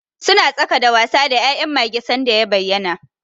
Suna tsaka da wasa da ya'yan mage sanda ya bayyana.